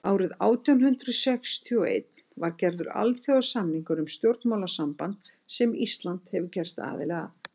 árið nítján hundrað sextíu og einn var gerður alþjóðasamningur um stjórnmálasamband sem ísland hefur gerst aðili að